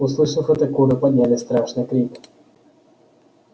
услышав это куры подняли страшный крик